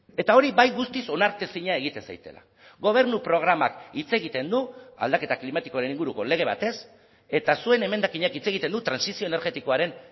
eta hori bai guztiz onartezina egiten zaidala gobernu programak hitz egiten du aldaketa klimatikoaren inguruko lege batez eta zuen emendakinak hitz egiten du trantsizio energetikoaren